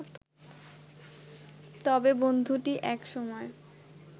তবে বন্ধুটি এক সময়